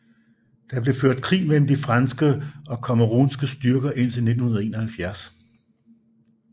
Der blev ført krig mellem de franske og camerounske styrker indtil 1971